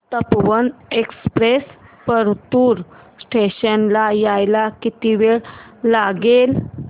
Tapovan express Partur station ला यायला किती वेळ लागेल